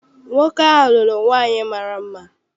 Nwoke ahụ lụrụ nwaanyị mara mma.